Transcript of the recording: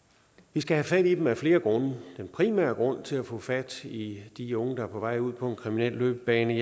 vi skal have fat i dem af flere grunde den primære grund til at få fat i de unge der er på vej ud på en kriminel løbebane